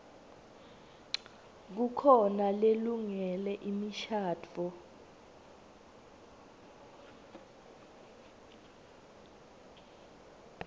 kukhona lelungele imishadvo